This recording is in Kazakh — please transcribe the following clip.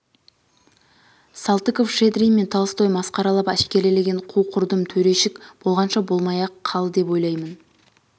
салтыков-щедрин мен толстой масқаралап әшкерелеген қу-құрдым төрешік болғанша болмай-ақ қал деп ойлаймын